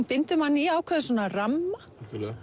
bindur mann í ákveðinn ramma